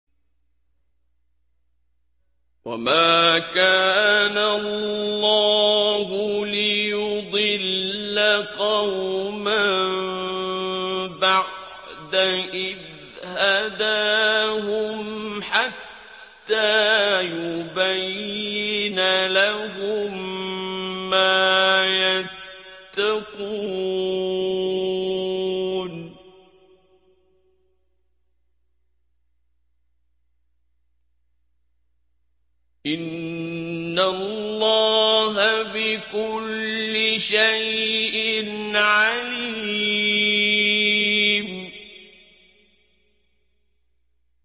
وَمَا كَانَ اللَّهُ لِيُضِلَّ قَوْمًا بَعْدَ إِذْ هَدَاهُمْ حَتَّىٰ يُبَيِّنَ لَهُم مَّا يَتَّقُونَ ۚ إِنَّ اللَّهَ بِكُلِّ شَيْءٍ عَلِيمٌ